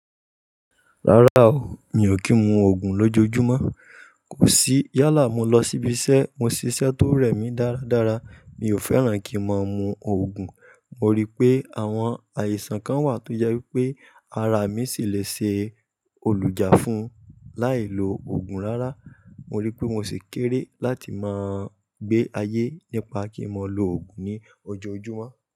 Rárá o, mi ò kí ń mu Ògùn lójoojumo, kò sí yálà, mo lọ síbi iṣẹ́, mo ṣiṣẹ́ tó rẹ̀ mí dáradára. Mi ò fẹ́ràn kí n màá mu Ògùn, mo rí i pé àwọn àìsàn kan wà tó jẹ́ wípé ara mi sì lè ṣe olùjà fun láìlo Ògùn rárá. Mo rí i pé mo ṣi kéré láti máa gbé ayé nípa kí n mo lo Ògùn ní ojoojúmọ́.